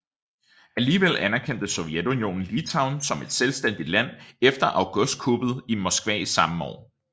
Alligevel anerkendte Sovjetunionen Litauen som et selvstændigt land efter augustkuppet i Moskva samme år